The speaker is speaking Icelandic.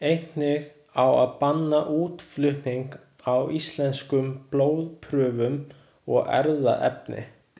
Einnig á að banna útflutning á íslenskum blóðprufum og erfðaefni.